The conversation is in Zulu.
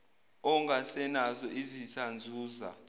ungasenazo izitha nzuza